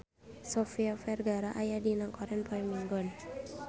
Sofia Vergara aya dina koran poe Minggon